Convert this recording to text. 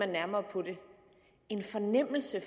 nærmere på det en fornemmelse af